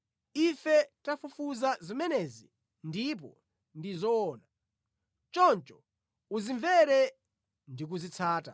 “Ife tafufuza zimenezi ndipo ndi zoona, choncho uzimvere ndi kuzitsata.”